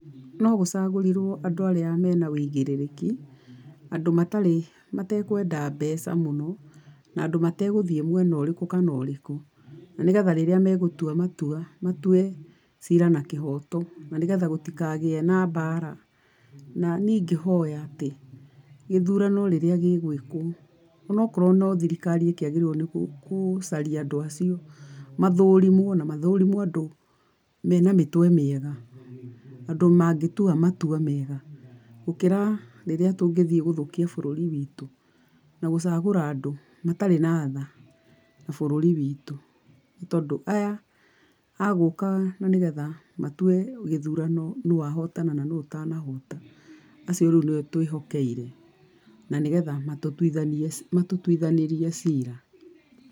No gũcagũrirwo andũ arĩa mena wĩigirĩrĩki, andũ matarĩ, matekwenda mbeca mũno, na andũ mategũthiĩ mwena ũrĩkũ kana ũrĩkũ, na nĩgetha rĩrĩa megũtua matua, matue cira na kĩhoto na nĩgetha gũtikagĩe na mbara. Na ni ingĩhoya atĩ, gĩthurano rĩrĩa gĩgũĩkwo, o na okorwo no thirikari ĩkĩagĩrĩrwo nĩ kũcaria andũ acio, mathũrimwo na mathũrimwo ũndũ mena mĩtwe mĩega. Andũ mangĩtua matua mega, gũkĩra rĩrĩa tũngĩthiĩ gũthũkia bũrũri witũ na gũcagũra andũ matarĩ na tha na bũrũri witũ, nĩ tondu aya a gũka na nĩgetha matue gĩthurano, nũ wa hotana na nũ ũtana hota, acio rĩu nĩo twĩhokeire na nĩgetha matũtuithanĩrie cira.